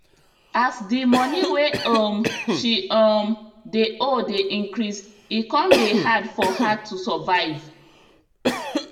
as the money wey um she um dey owe dey increase e come dey hard for her to survive